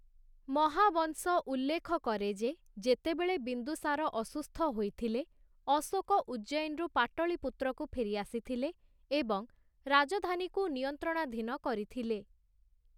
ମହାବଂଶ ଉଲ୍ଲେଖକରେ ଯେ, ଯେତେବେଳେ ବିନ୍ଦୁସାର ଅସୁସ୍ଥ ହୋଇଥିଲେ, ଅଶୋକ ଉଜ୍ଜୈନରୁ ପାଟଳୀପୁତ୍ରକୁ ଫେରି ଆସିଥିଲେ ଏବଂ ରାଜଧାନୀକୁ ନିୟନ୍ତ୍ରଣାଧୀନ କରିଥିଲେ ।